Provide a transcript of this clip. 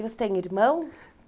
E você tem irmãos?